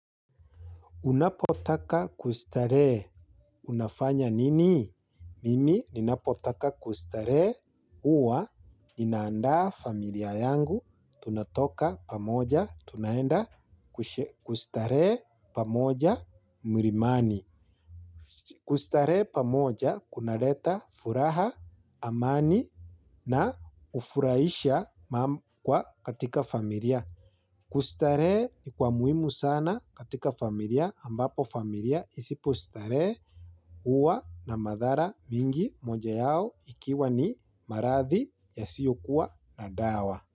Unapotaka kustarehe, unafanya nini? Mimi ninapotaka kustarehe huwa, nina andaa familia yangu, tunatoka pamoja, tunaenda kustarehe pamoja mlimani. Kustarehe pamoja, kunaleta furaha, amani na ufurahisha kwa katika familia. Kustarehe ni kwa muhimu sana katika familia ambapo familia isipo sitarehe huwa na madhara mingi moja yao ikiwa ni maradhi yasiyokuwa na dawa.